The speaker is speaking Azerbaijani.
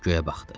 Göyə baxdı.